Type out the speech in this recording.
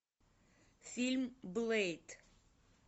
фильм блэйд